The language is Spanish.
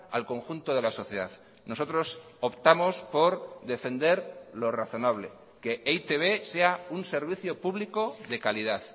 al conjunto de la sociedad nosotros optamos por defender lo razonable que e i te be sea un servicio público de calidad